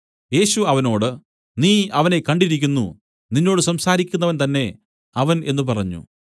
യേശു അവനോട് നീ അവനെ കണ്ടിരിക്കുന്നു നിന്നോട് സംസാരിക്കുന്നവൻ തന്നേ അവൻ എന്നു പറഞ്ഞു